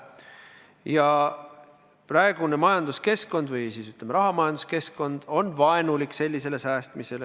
Ja praegune majanduskeskkond või, ütleme, rahamajanduskeskkond on sellise säästmise suhtes vaenulik.